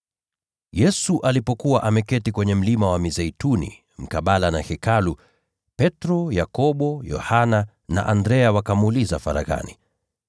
Yesu alipokuwa ameketi kwenye Mlima wa Mizeituni mkabala na Hekalu, Petro, Yakobo, Yohana na Andrea wakamuuliza faraghani,